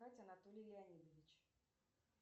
анатолий леонидович